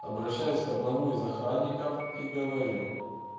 обращаюсь к одному из охранников и говорю